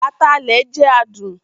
Atalẹ jẹ adun